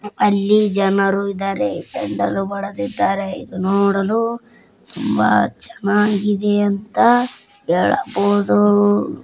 ಅಲ್ಲಿ ಜನರು ಇದಾರೆ ನೋಡಲು ತುಂಬಾ ಚೆನ್ನಾಗಿದೆ ಅಂತ ಹೇಳಬಹುದು.